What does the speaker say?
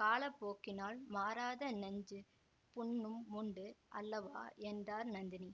காலப்போக்கினால் மாறாத நெஞ்சுப் புண்ணும் உண்டு அல்லவா என்றாள் நந்தினி